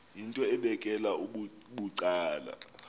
yinto ebekela bucala